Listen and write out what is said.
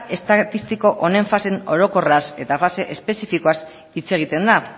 estatistiko honen fase orokorraz eta fase espezifikoaz hitz egiten da